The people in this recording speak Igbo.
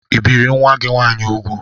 ị bìri nwa gị nwaanyị úgwù?